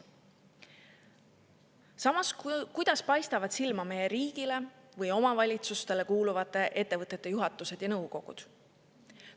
Samas, kuidas paistavad silma meie riigile või omavalitsustele kuuluvate ettevõtete juhatused ja nõukogud?